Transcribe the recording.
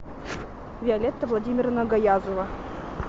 виолетта владимировна гаязова